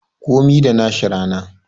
Komi da nashi rana